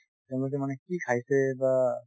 তেওঁলোকে মানে কি খাইছে বা